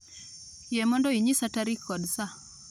Yie mondo inyisa tarik kod saa